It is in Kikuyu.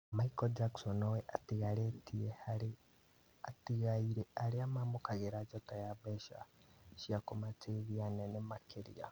Michael Jackson nowe ũtongoretie harĩ atigaire arĩa mamũkagĩra njata ya mbeca cia kũmateithia nene makĩria.